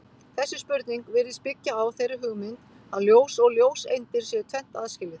Þessi spurning virðist byggja á þeirri hugmynd að ljós og ljóseindir séu tvennt aðskilið.